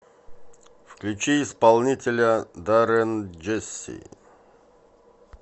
включи исполнителя даррен джесси